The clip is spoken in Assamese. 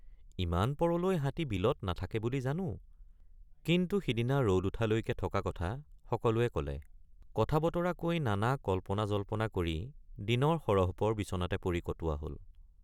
ইমান পৰলৈ হাতী বিলত নাথাকে বুলি জানোকিন্তু সিদিনা ৰদ উঠালৈকে থকা কথা সকলোৱে কলে৷ কথাবতৰা কৈ নানা কল্পনাজল্পনা কৰি দিনৰ সৰহপৰ বিছনাতে পৰি কটোৱা হল।